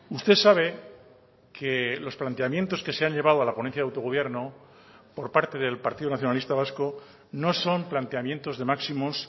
usted sabe que los planteamientos que se han llevado a la ponencia de autogobierno por parte del partido nacionalista vasco no son planteamientos de máximos